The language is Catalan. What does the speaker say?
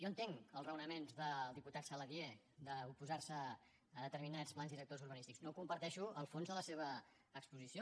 jo entenc els raonaments del diputat saladié d’oposar se a determinats plans directors urbanístics no comparteixo el fons de la seva exposició